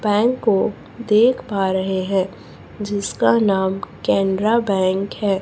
Bank को देख पा रहे हैं जिसका नाम केनरा बैंक है।